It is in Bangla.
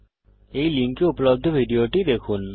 এই লিঙ্কে উপলব্ধ ভিডিওটি দেখুন